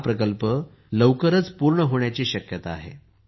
हा प्रकल्प लवकरच पूर्ण होण्याची शक्यता आहे